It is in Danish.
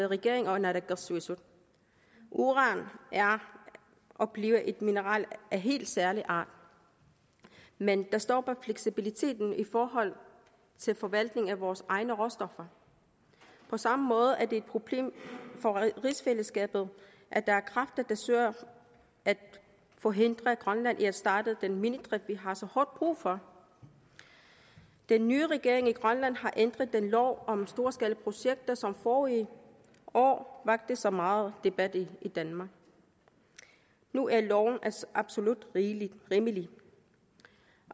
regeringen og naalakkersuisut uran er og bliver et mineral af helt særlig art men dér stopper fleksibiliteten i forhold til forvaltningen af vores egne råstoffer på samme måde er det et problem for rigsfællesskabet at der er kræfter der søger at forhindre grønland i at starte den minedrift vi har så hårdt brug for den nye regering i grønland har ændret den lov om storskalaprojekter som forrige år vakte så meget debat i danmark nu er loven absolut rimelig